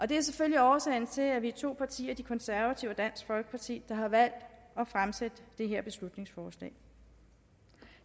det er selvfølgelig årsagen til at vi er to partier de konservative og dansk folkeparti der har valgt at fremsætte det her beslutningsforslag